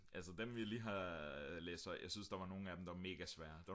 altså dem vi lige har læst højt jeg synes der var nogle af dem der var mega svære